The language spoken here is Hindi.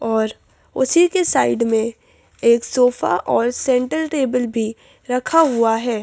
और उसी के साइड में एक सोफा और सेंटर टेबल भी रखा हुआ है।